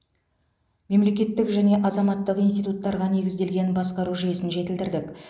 мемлекеттік және азаматтық институттарға негізделген басқару жүйесін жетілдірдік